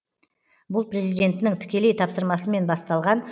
бұл президентінің тікелей тапсырмасымен басталған